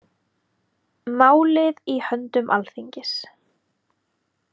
Málið í höndum Alþingis